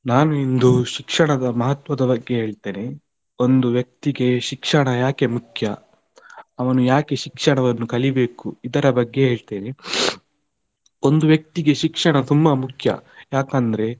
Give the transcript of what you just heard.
ನಾನು ಇಂದು ಶಿಕ್ಷಣದ ಮಹತ್ವದ ಬಗ್ಗೆ ಹೇಳ್ತೇನೆ, ಒಂದು ವ್ಯಕ್ತಿಗೆ ಶಿಕ್ಷಣ ಯಾಕೆ ಮುಖ್ಯ, ಅವನು ಯಾಕೆ ಶಿಕ್ಷಣವನ್ನು ಕಲಿಬೇಕು ಇದರ ಬಗ್ಗೆ ಹೇಳ್ತೇನೆ, ಒಂದು ವ್ಯಕ್ತಿಗೆ ಶಿಕ್ಷಣ ತುಂಬಾ ಮುಖ್ಯ ಯಾಕಂದ್ರೆ.